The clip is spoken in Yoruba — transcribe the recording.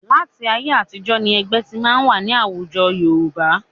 Láti ayé àtijọ́ ni ẹgbẹ́ ti máa ń wà ní àwùjọ Yorùbá